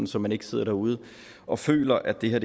så man ikke sidder derude og føler at det her